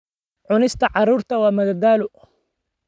Cunista carruurta waa madadaalo.